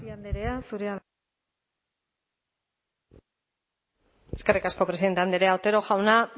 tapia andrea zurea da hitza eskerrik asko presidente andrea otero jauna